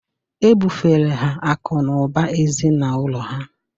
E bufere ha akụ̀ na ụba ezinụlọ ha